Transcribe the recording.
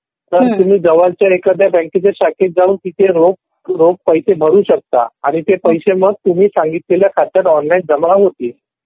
तर तुम्ही जवळच्या एखाद्या मला शाखेत जाऊन तिथे पैसे भरू शकता आणि ते पैसे मग तुम्ही सांगितलेल्या ऑनलाइन खात्यात जमा होतील.